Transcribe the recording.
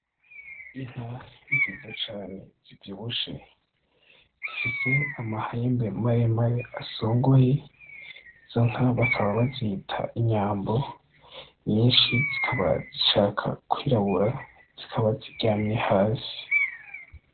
Inka nziza cane zivyibushe zifise amahembe maremare asongoye izonka bakaba bazita inyambo nyishi zikaba zishaka kw'irabura zikaba ziryamye hasi.